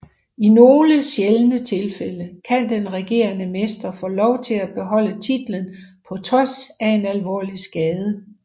I nogle sjældne tilfælde kan den regerende mester få lov til at beholde titlen på trods af en alvor skade